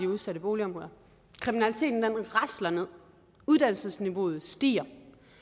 udsatte boligområder kriminaliteten rasler ned uddannelsesniveauet stiger